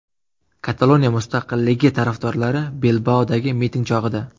Kataloniya mustaqilligi tarafdorlari Bilbaodagi miting chog‘ida.